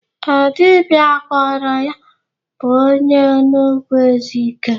Ee, dibia gwọrọ ya bụ onye Enugwu Ezike